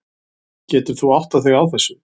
Getur þú áttað þig á þessu?